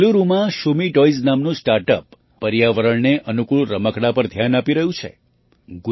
બેંગલુરુમાં Shumee toys નામનું startup પર્યાવરણને અનુકૂળ રમકડાં પર ધ્યાન આપી રહ્યું છે